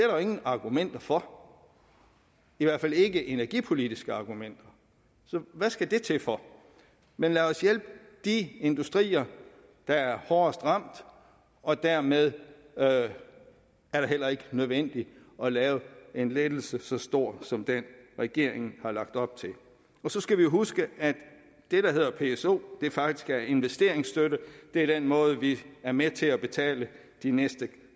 jo ingen argumenter for i hvert fald ikke energipolitiske argumenter så hvad skal det til for men lad os hjælpe de industrier der er hårdest ramt og dermed er det heller ikke nødvendigt at lave en lettelse så stor som den regeringen har lagt op til og så skal vi jo huske at det der hedder pso faktisk er investeringsstøtte det er den måde vi er med til at betale de næste